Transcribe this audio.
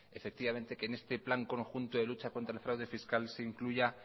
que en este plan conjunto de lucha contra el fraude fiscal se incluya